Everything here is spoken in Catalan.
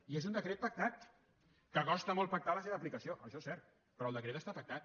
i és un decret pactat que costa molt pactar la seva aplicació això és cert però el decret està pactat